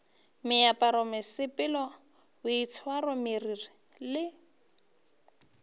meaparo mesepelo boitshwaro meriri le